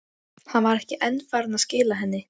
Hann var ekki enn farinn að skila henni.